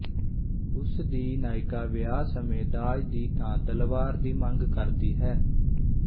ਉਸ ਦੀ ਨਾਇਕਾ ਵਿਆਹ ਸਮੇਂ ਦਾਜ ਦੀ ਥਾਂ ਤਲਵਾਰ ਦੀ ਮੰਗ ਕਰਦੀ ਹੈ